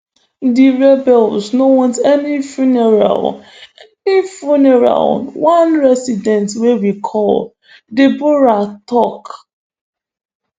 di rebels no want any funerals any funerals one resident wey we call deborah tok